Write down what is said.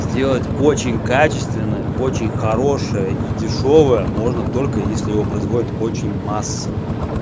сделать очень качественное очень хорошее и дешёвое можно только если его производит очень массово